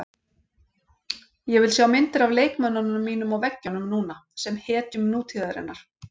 Ég vil sjá myndir af leikmönnunum mínum á veggjunum núna, sem hetjum nútíðarinnar.